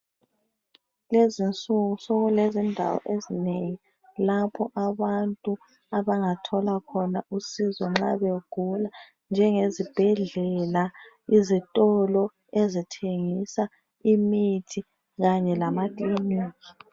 Lezi insuku sekulezindawo ezinengi lapho abantu abangathola khona usizo nxa begula njenge zibhedlela, izitolo ezithengisa imithi kanye lama kiliniki.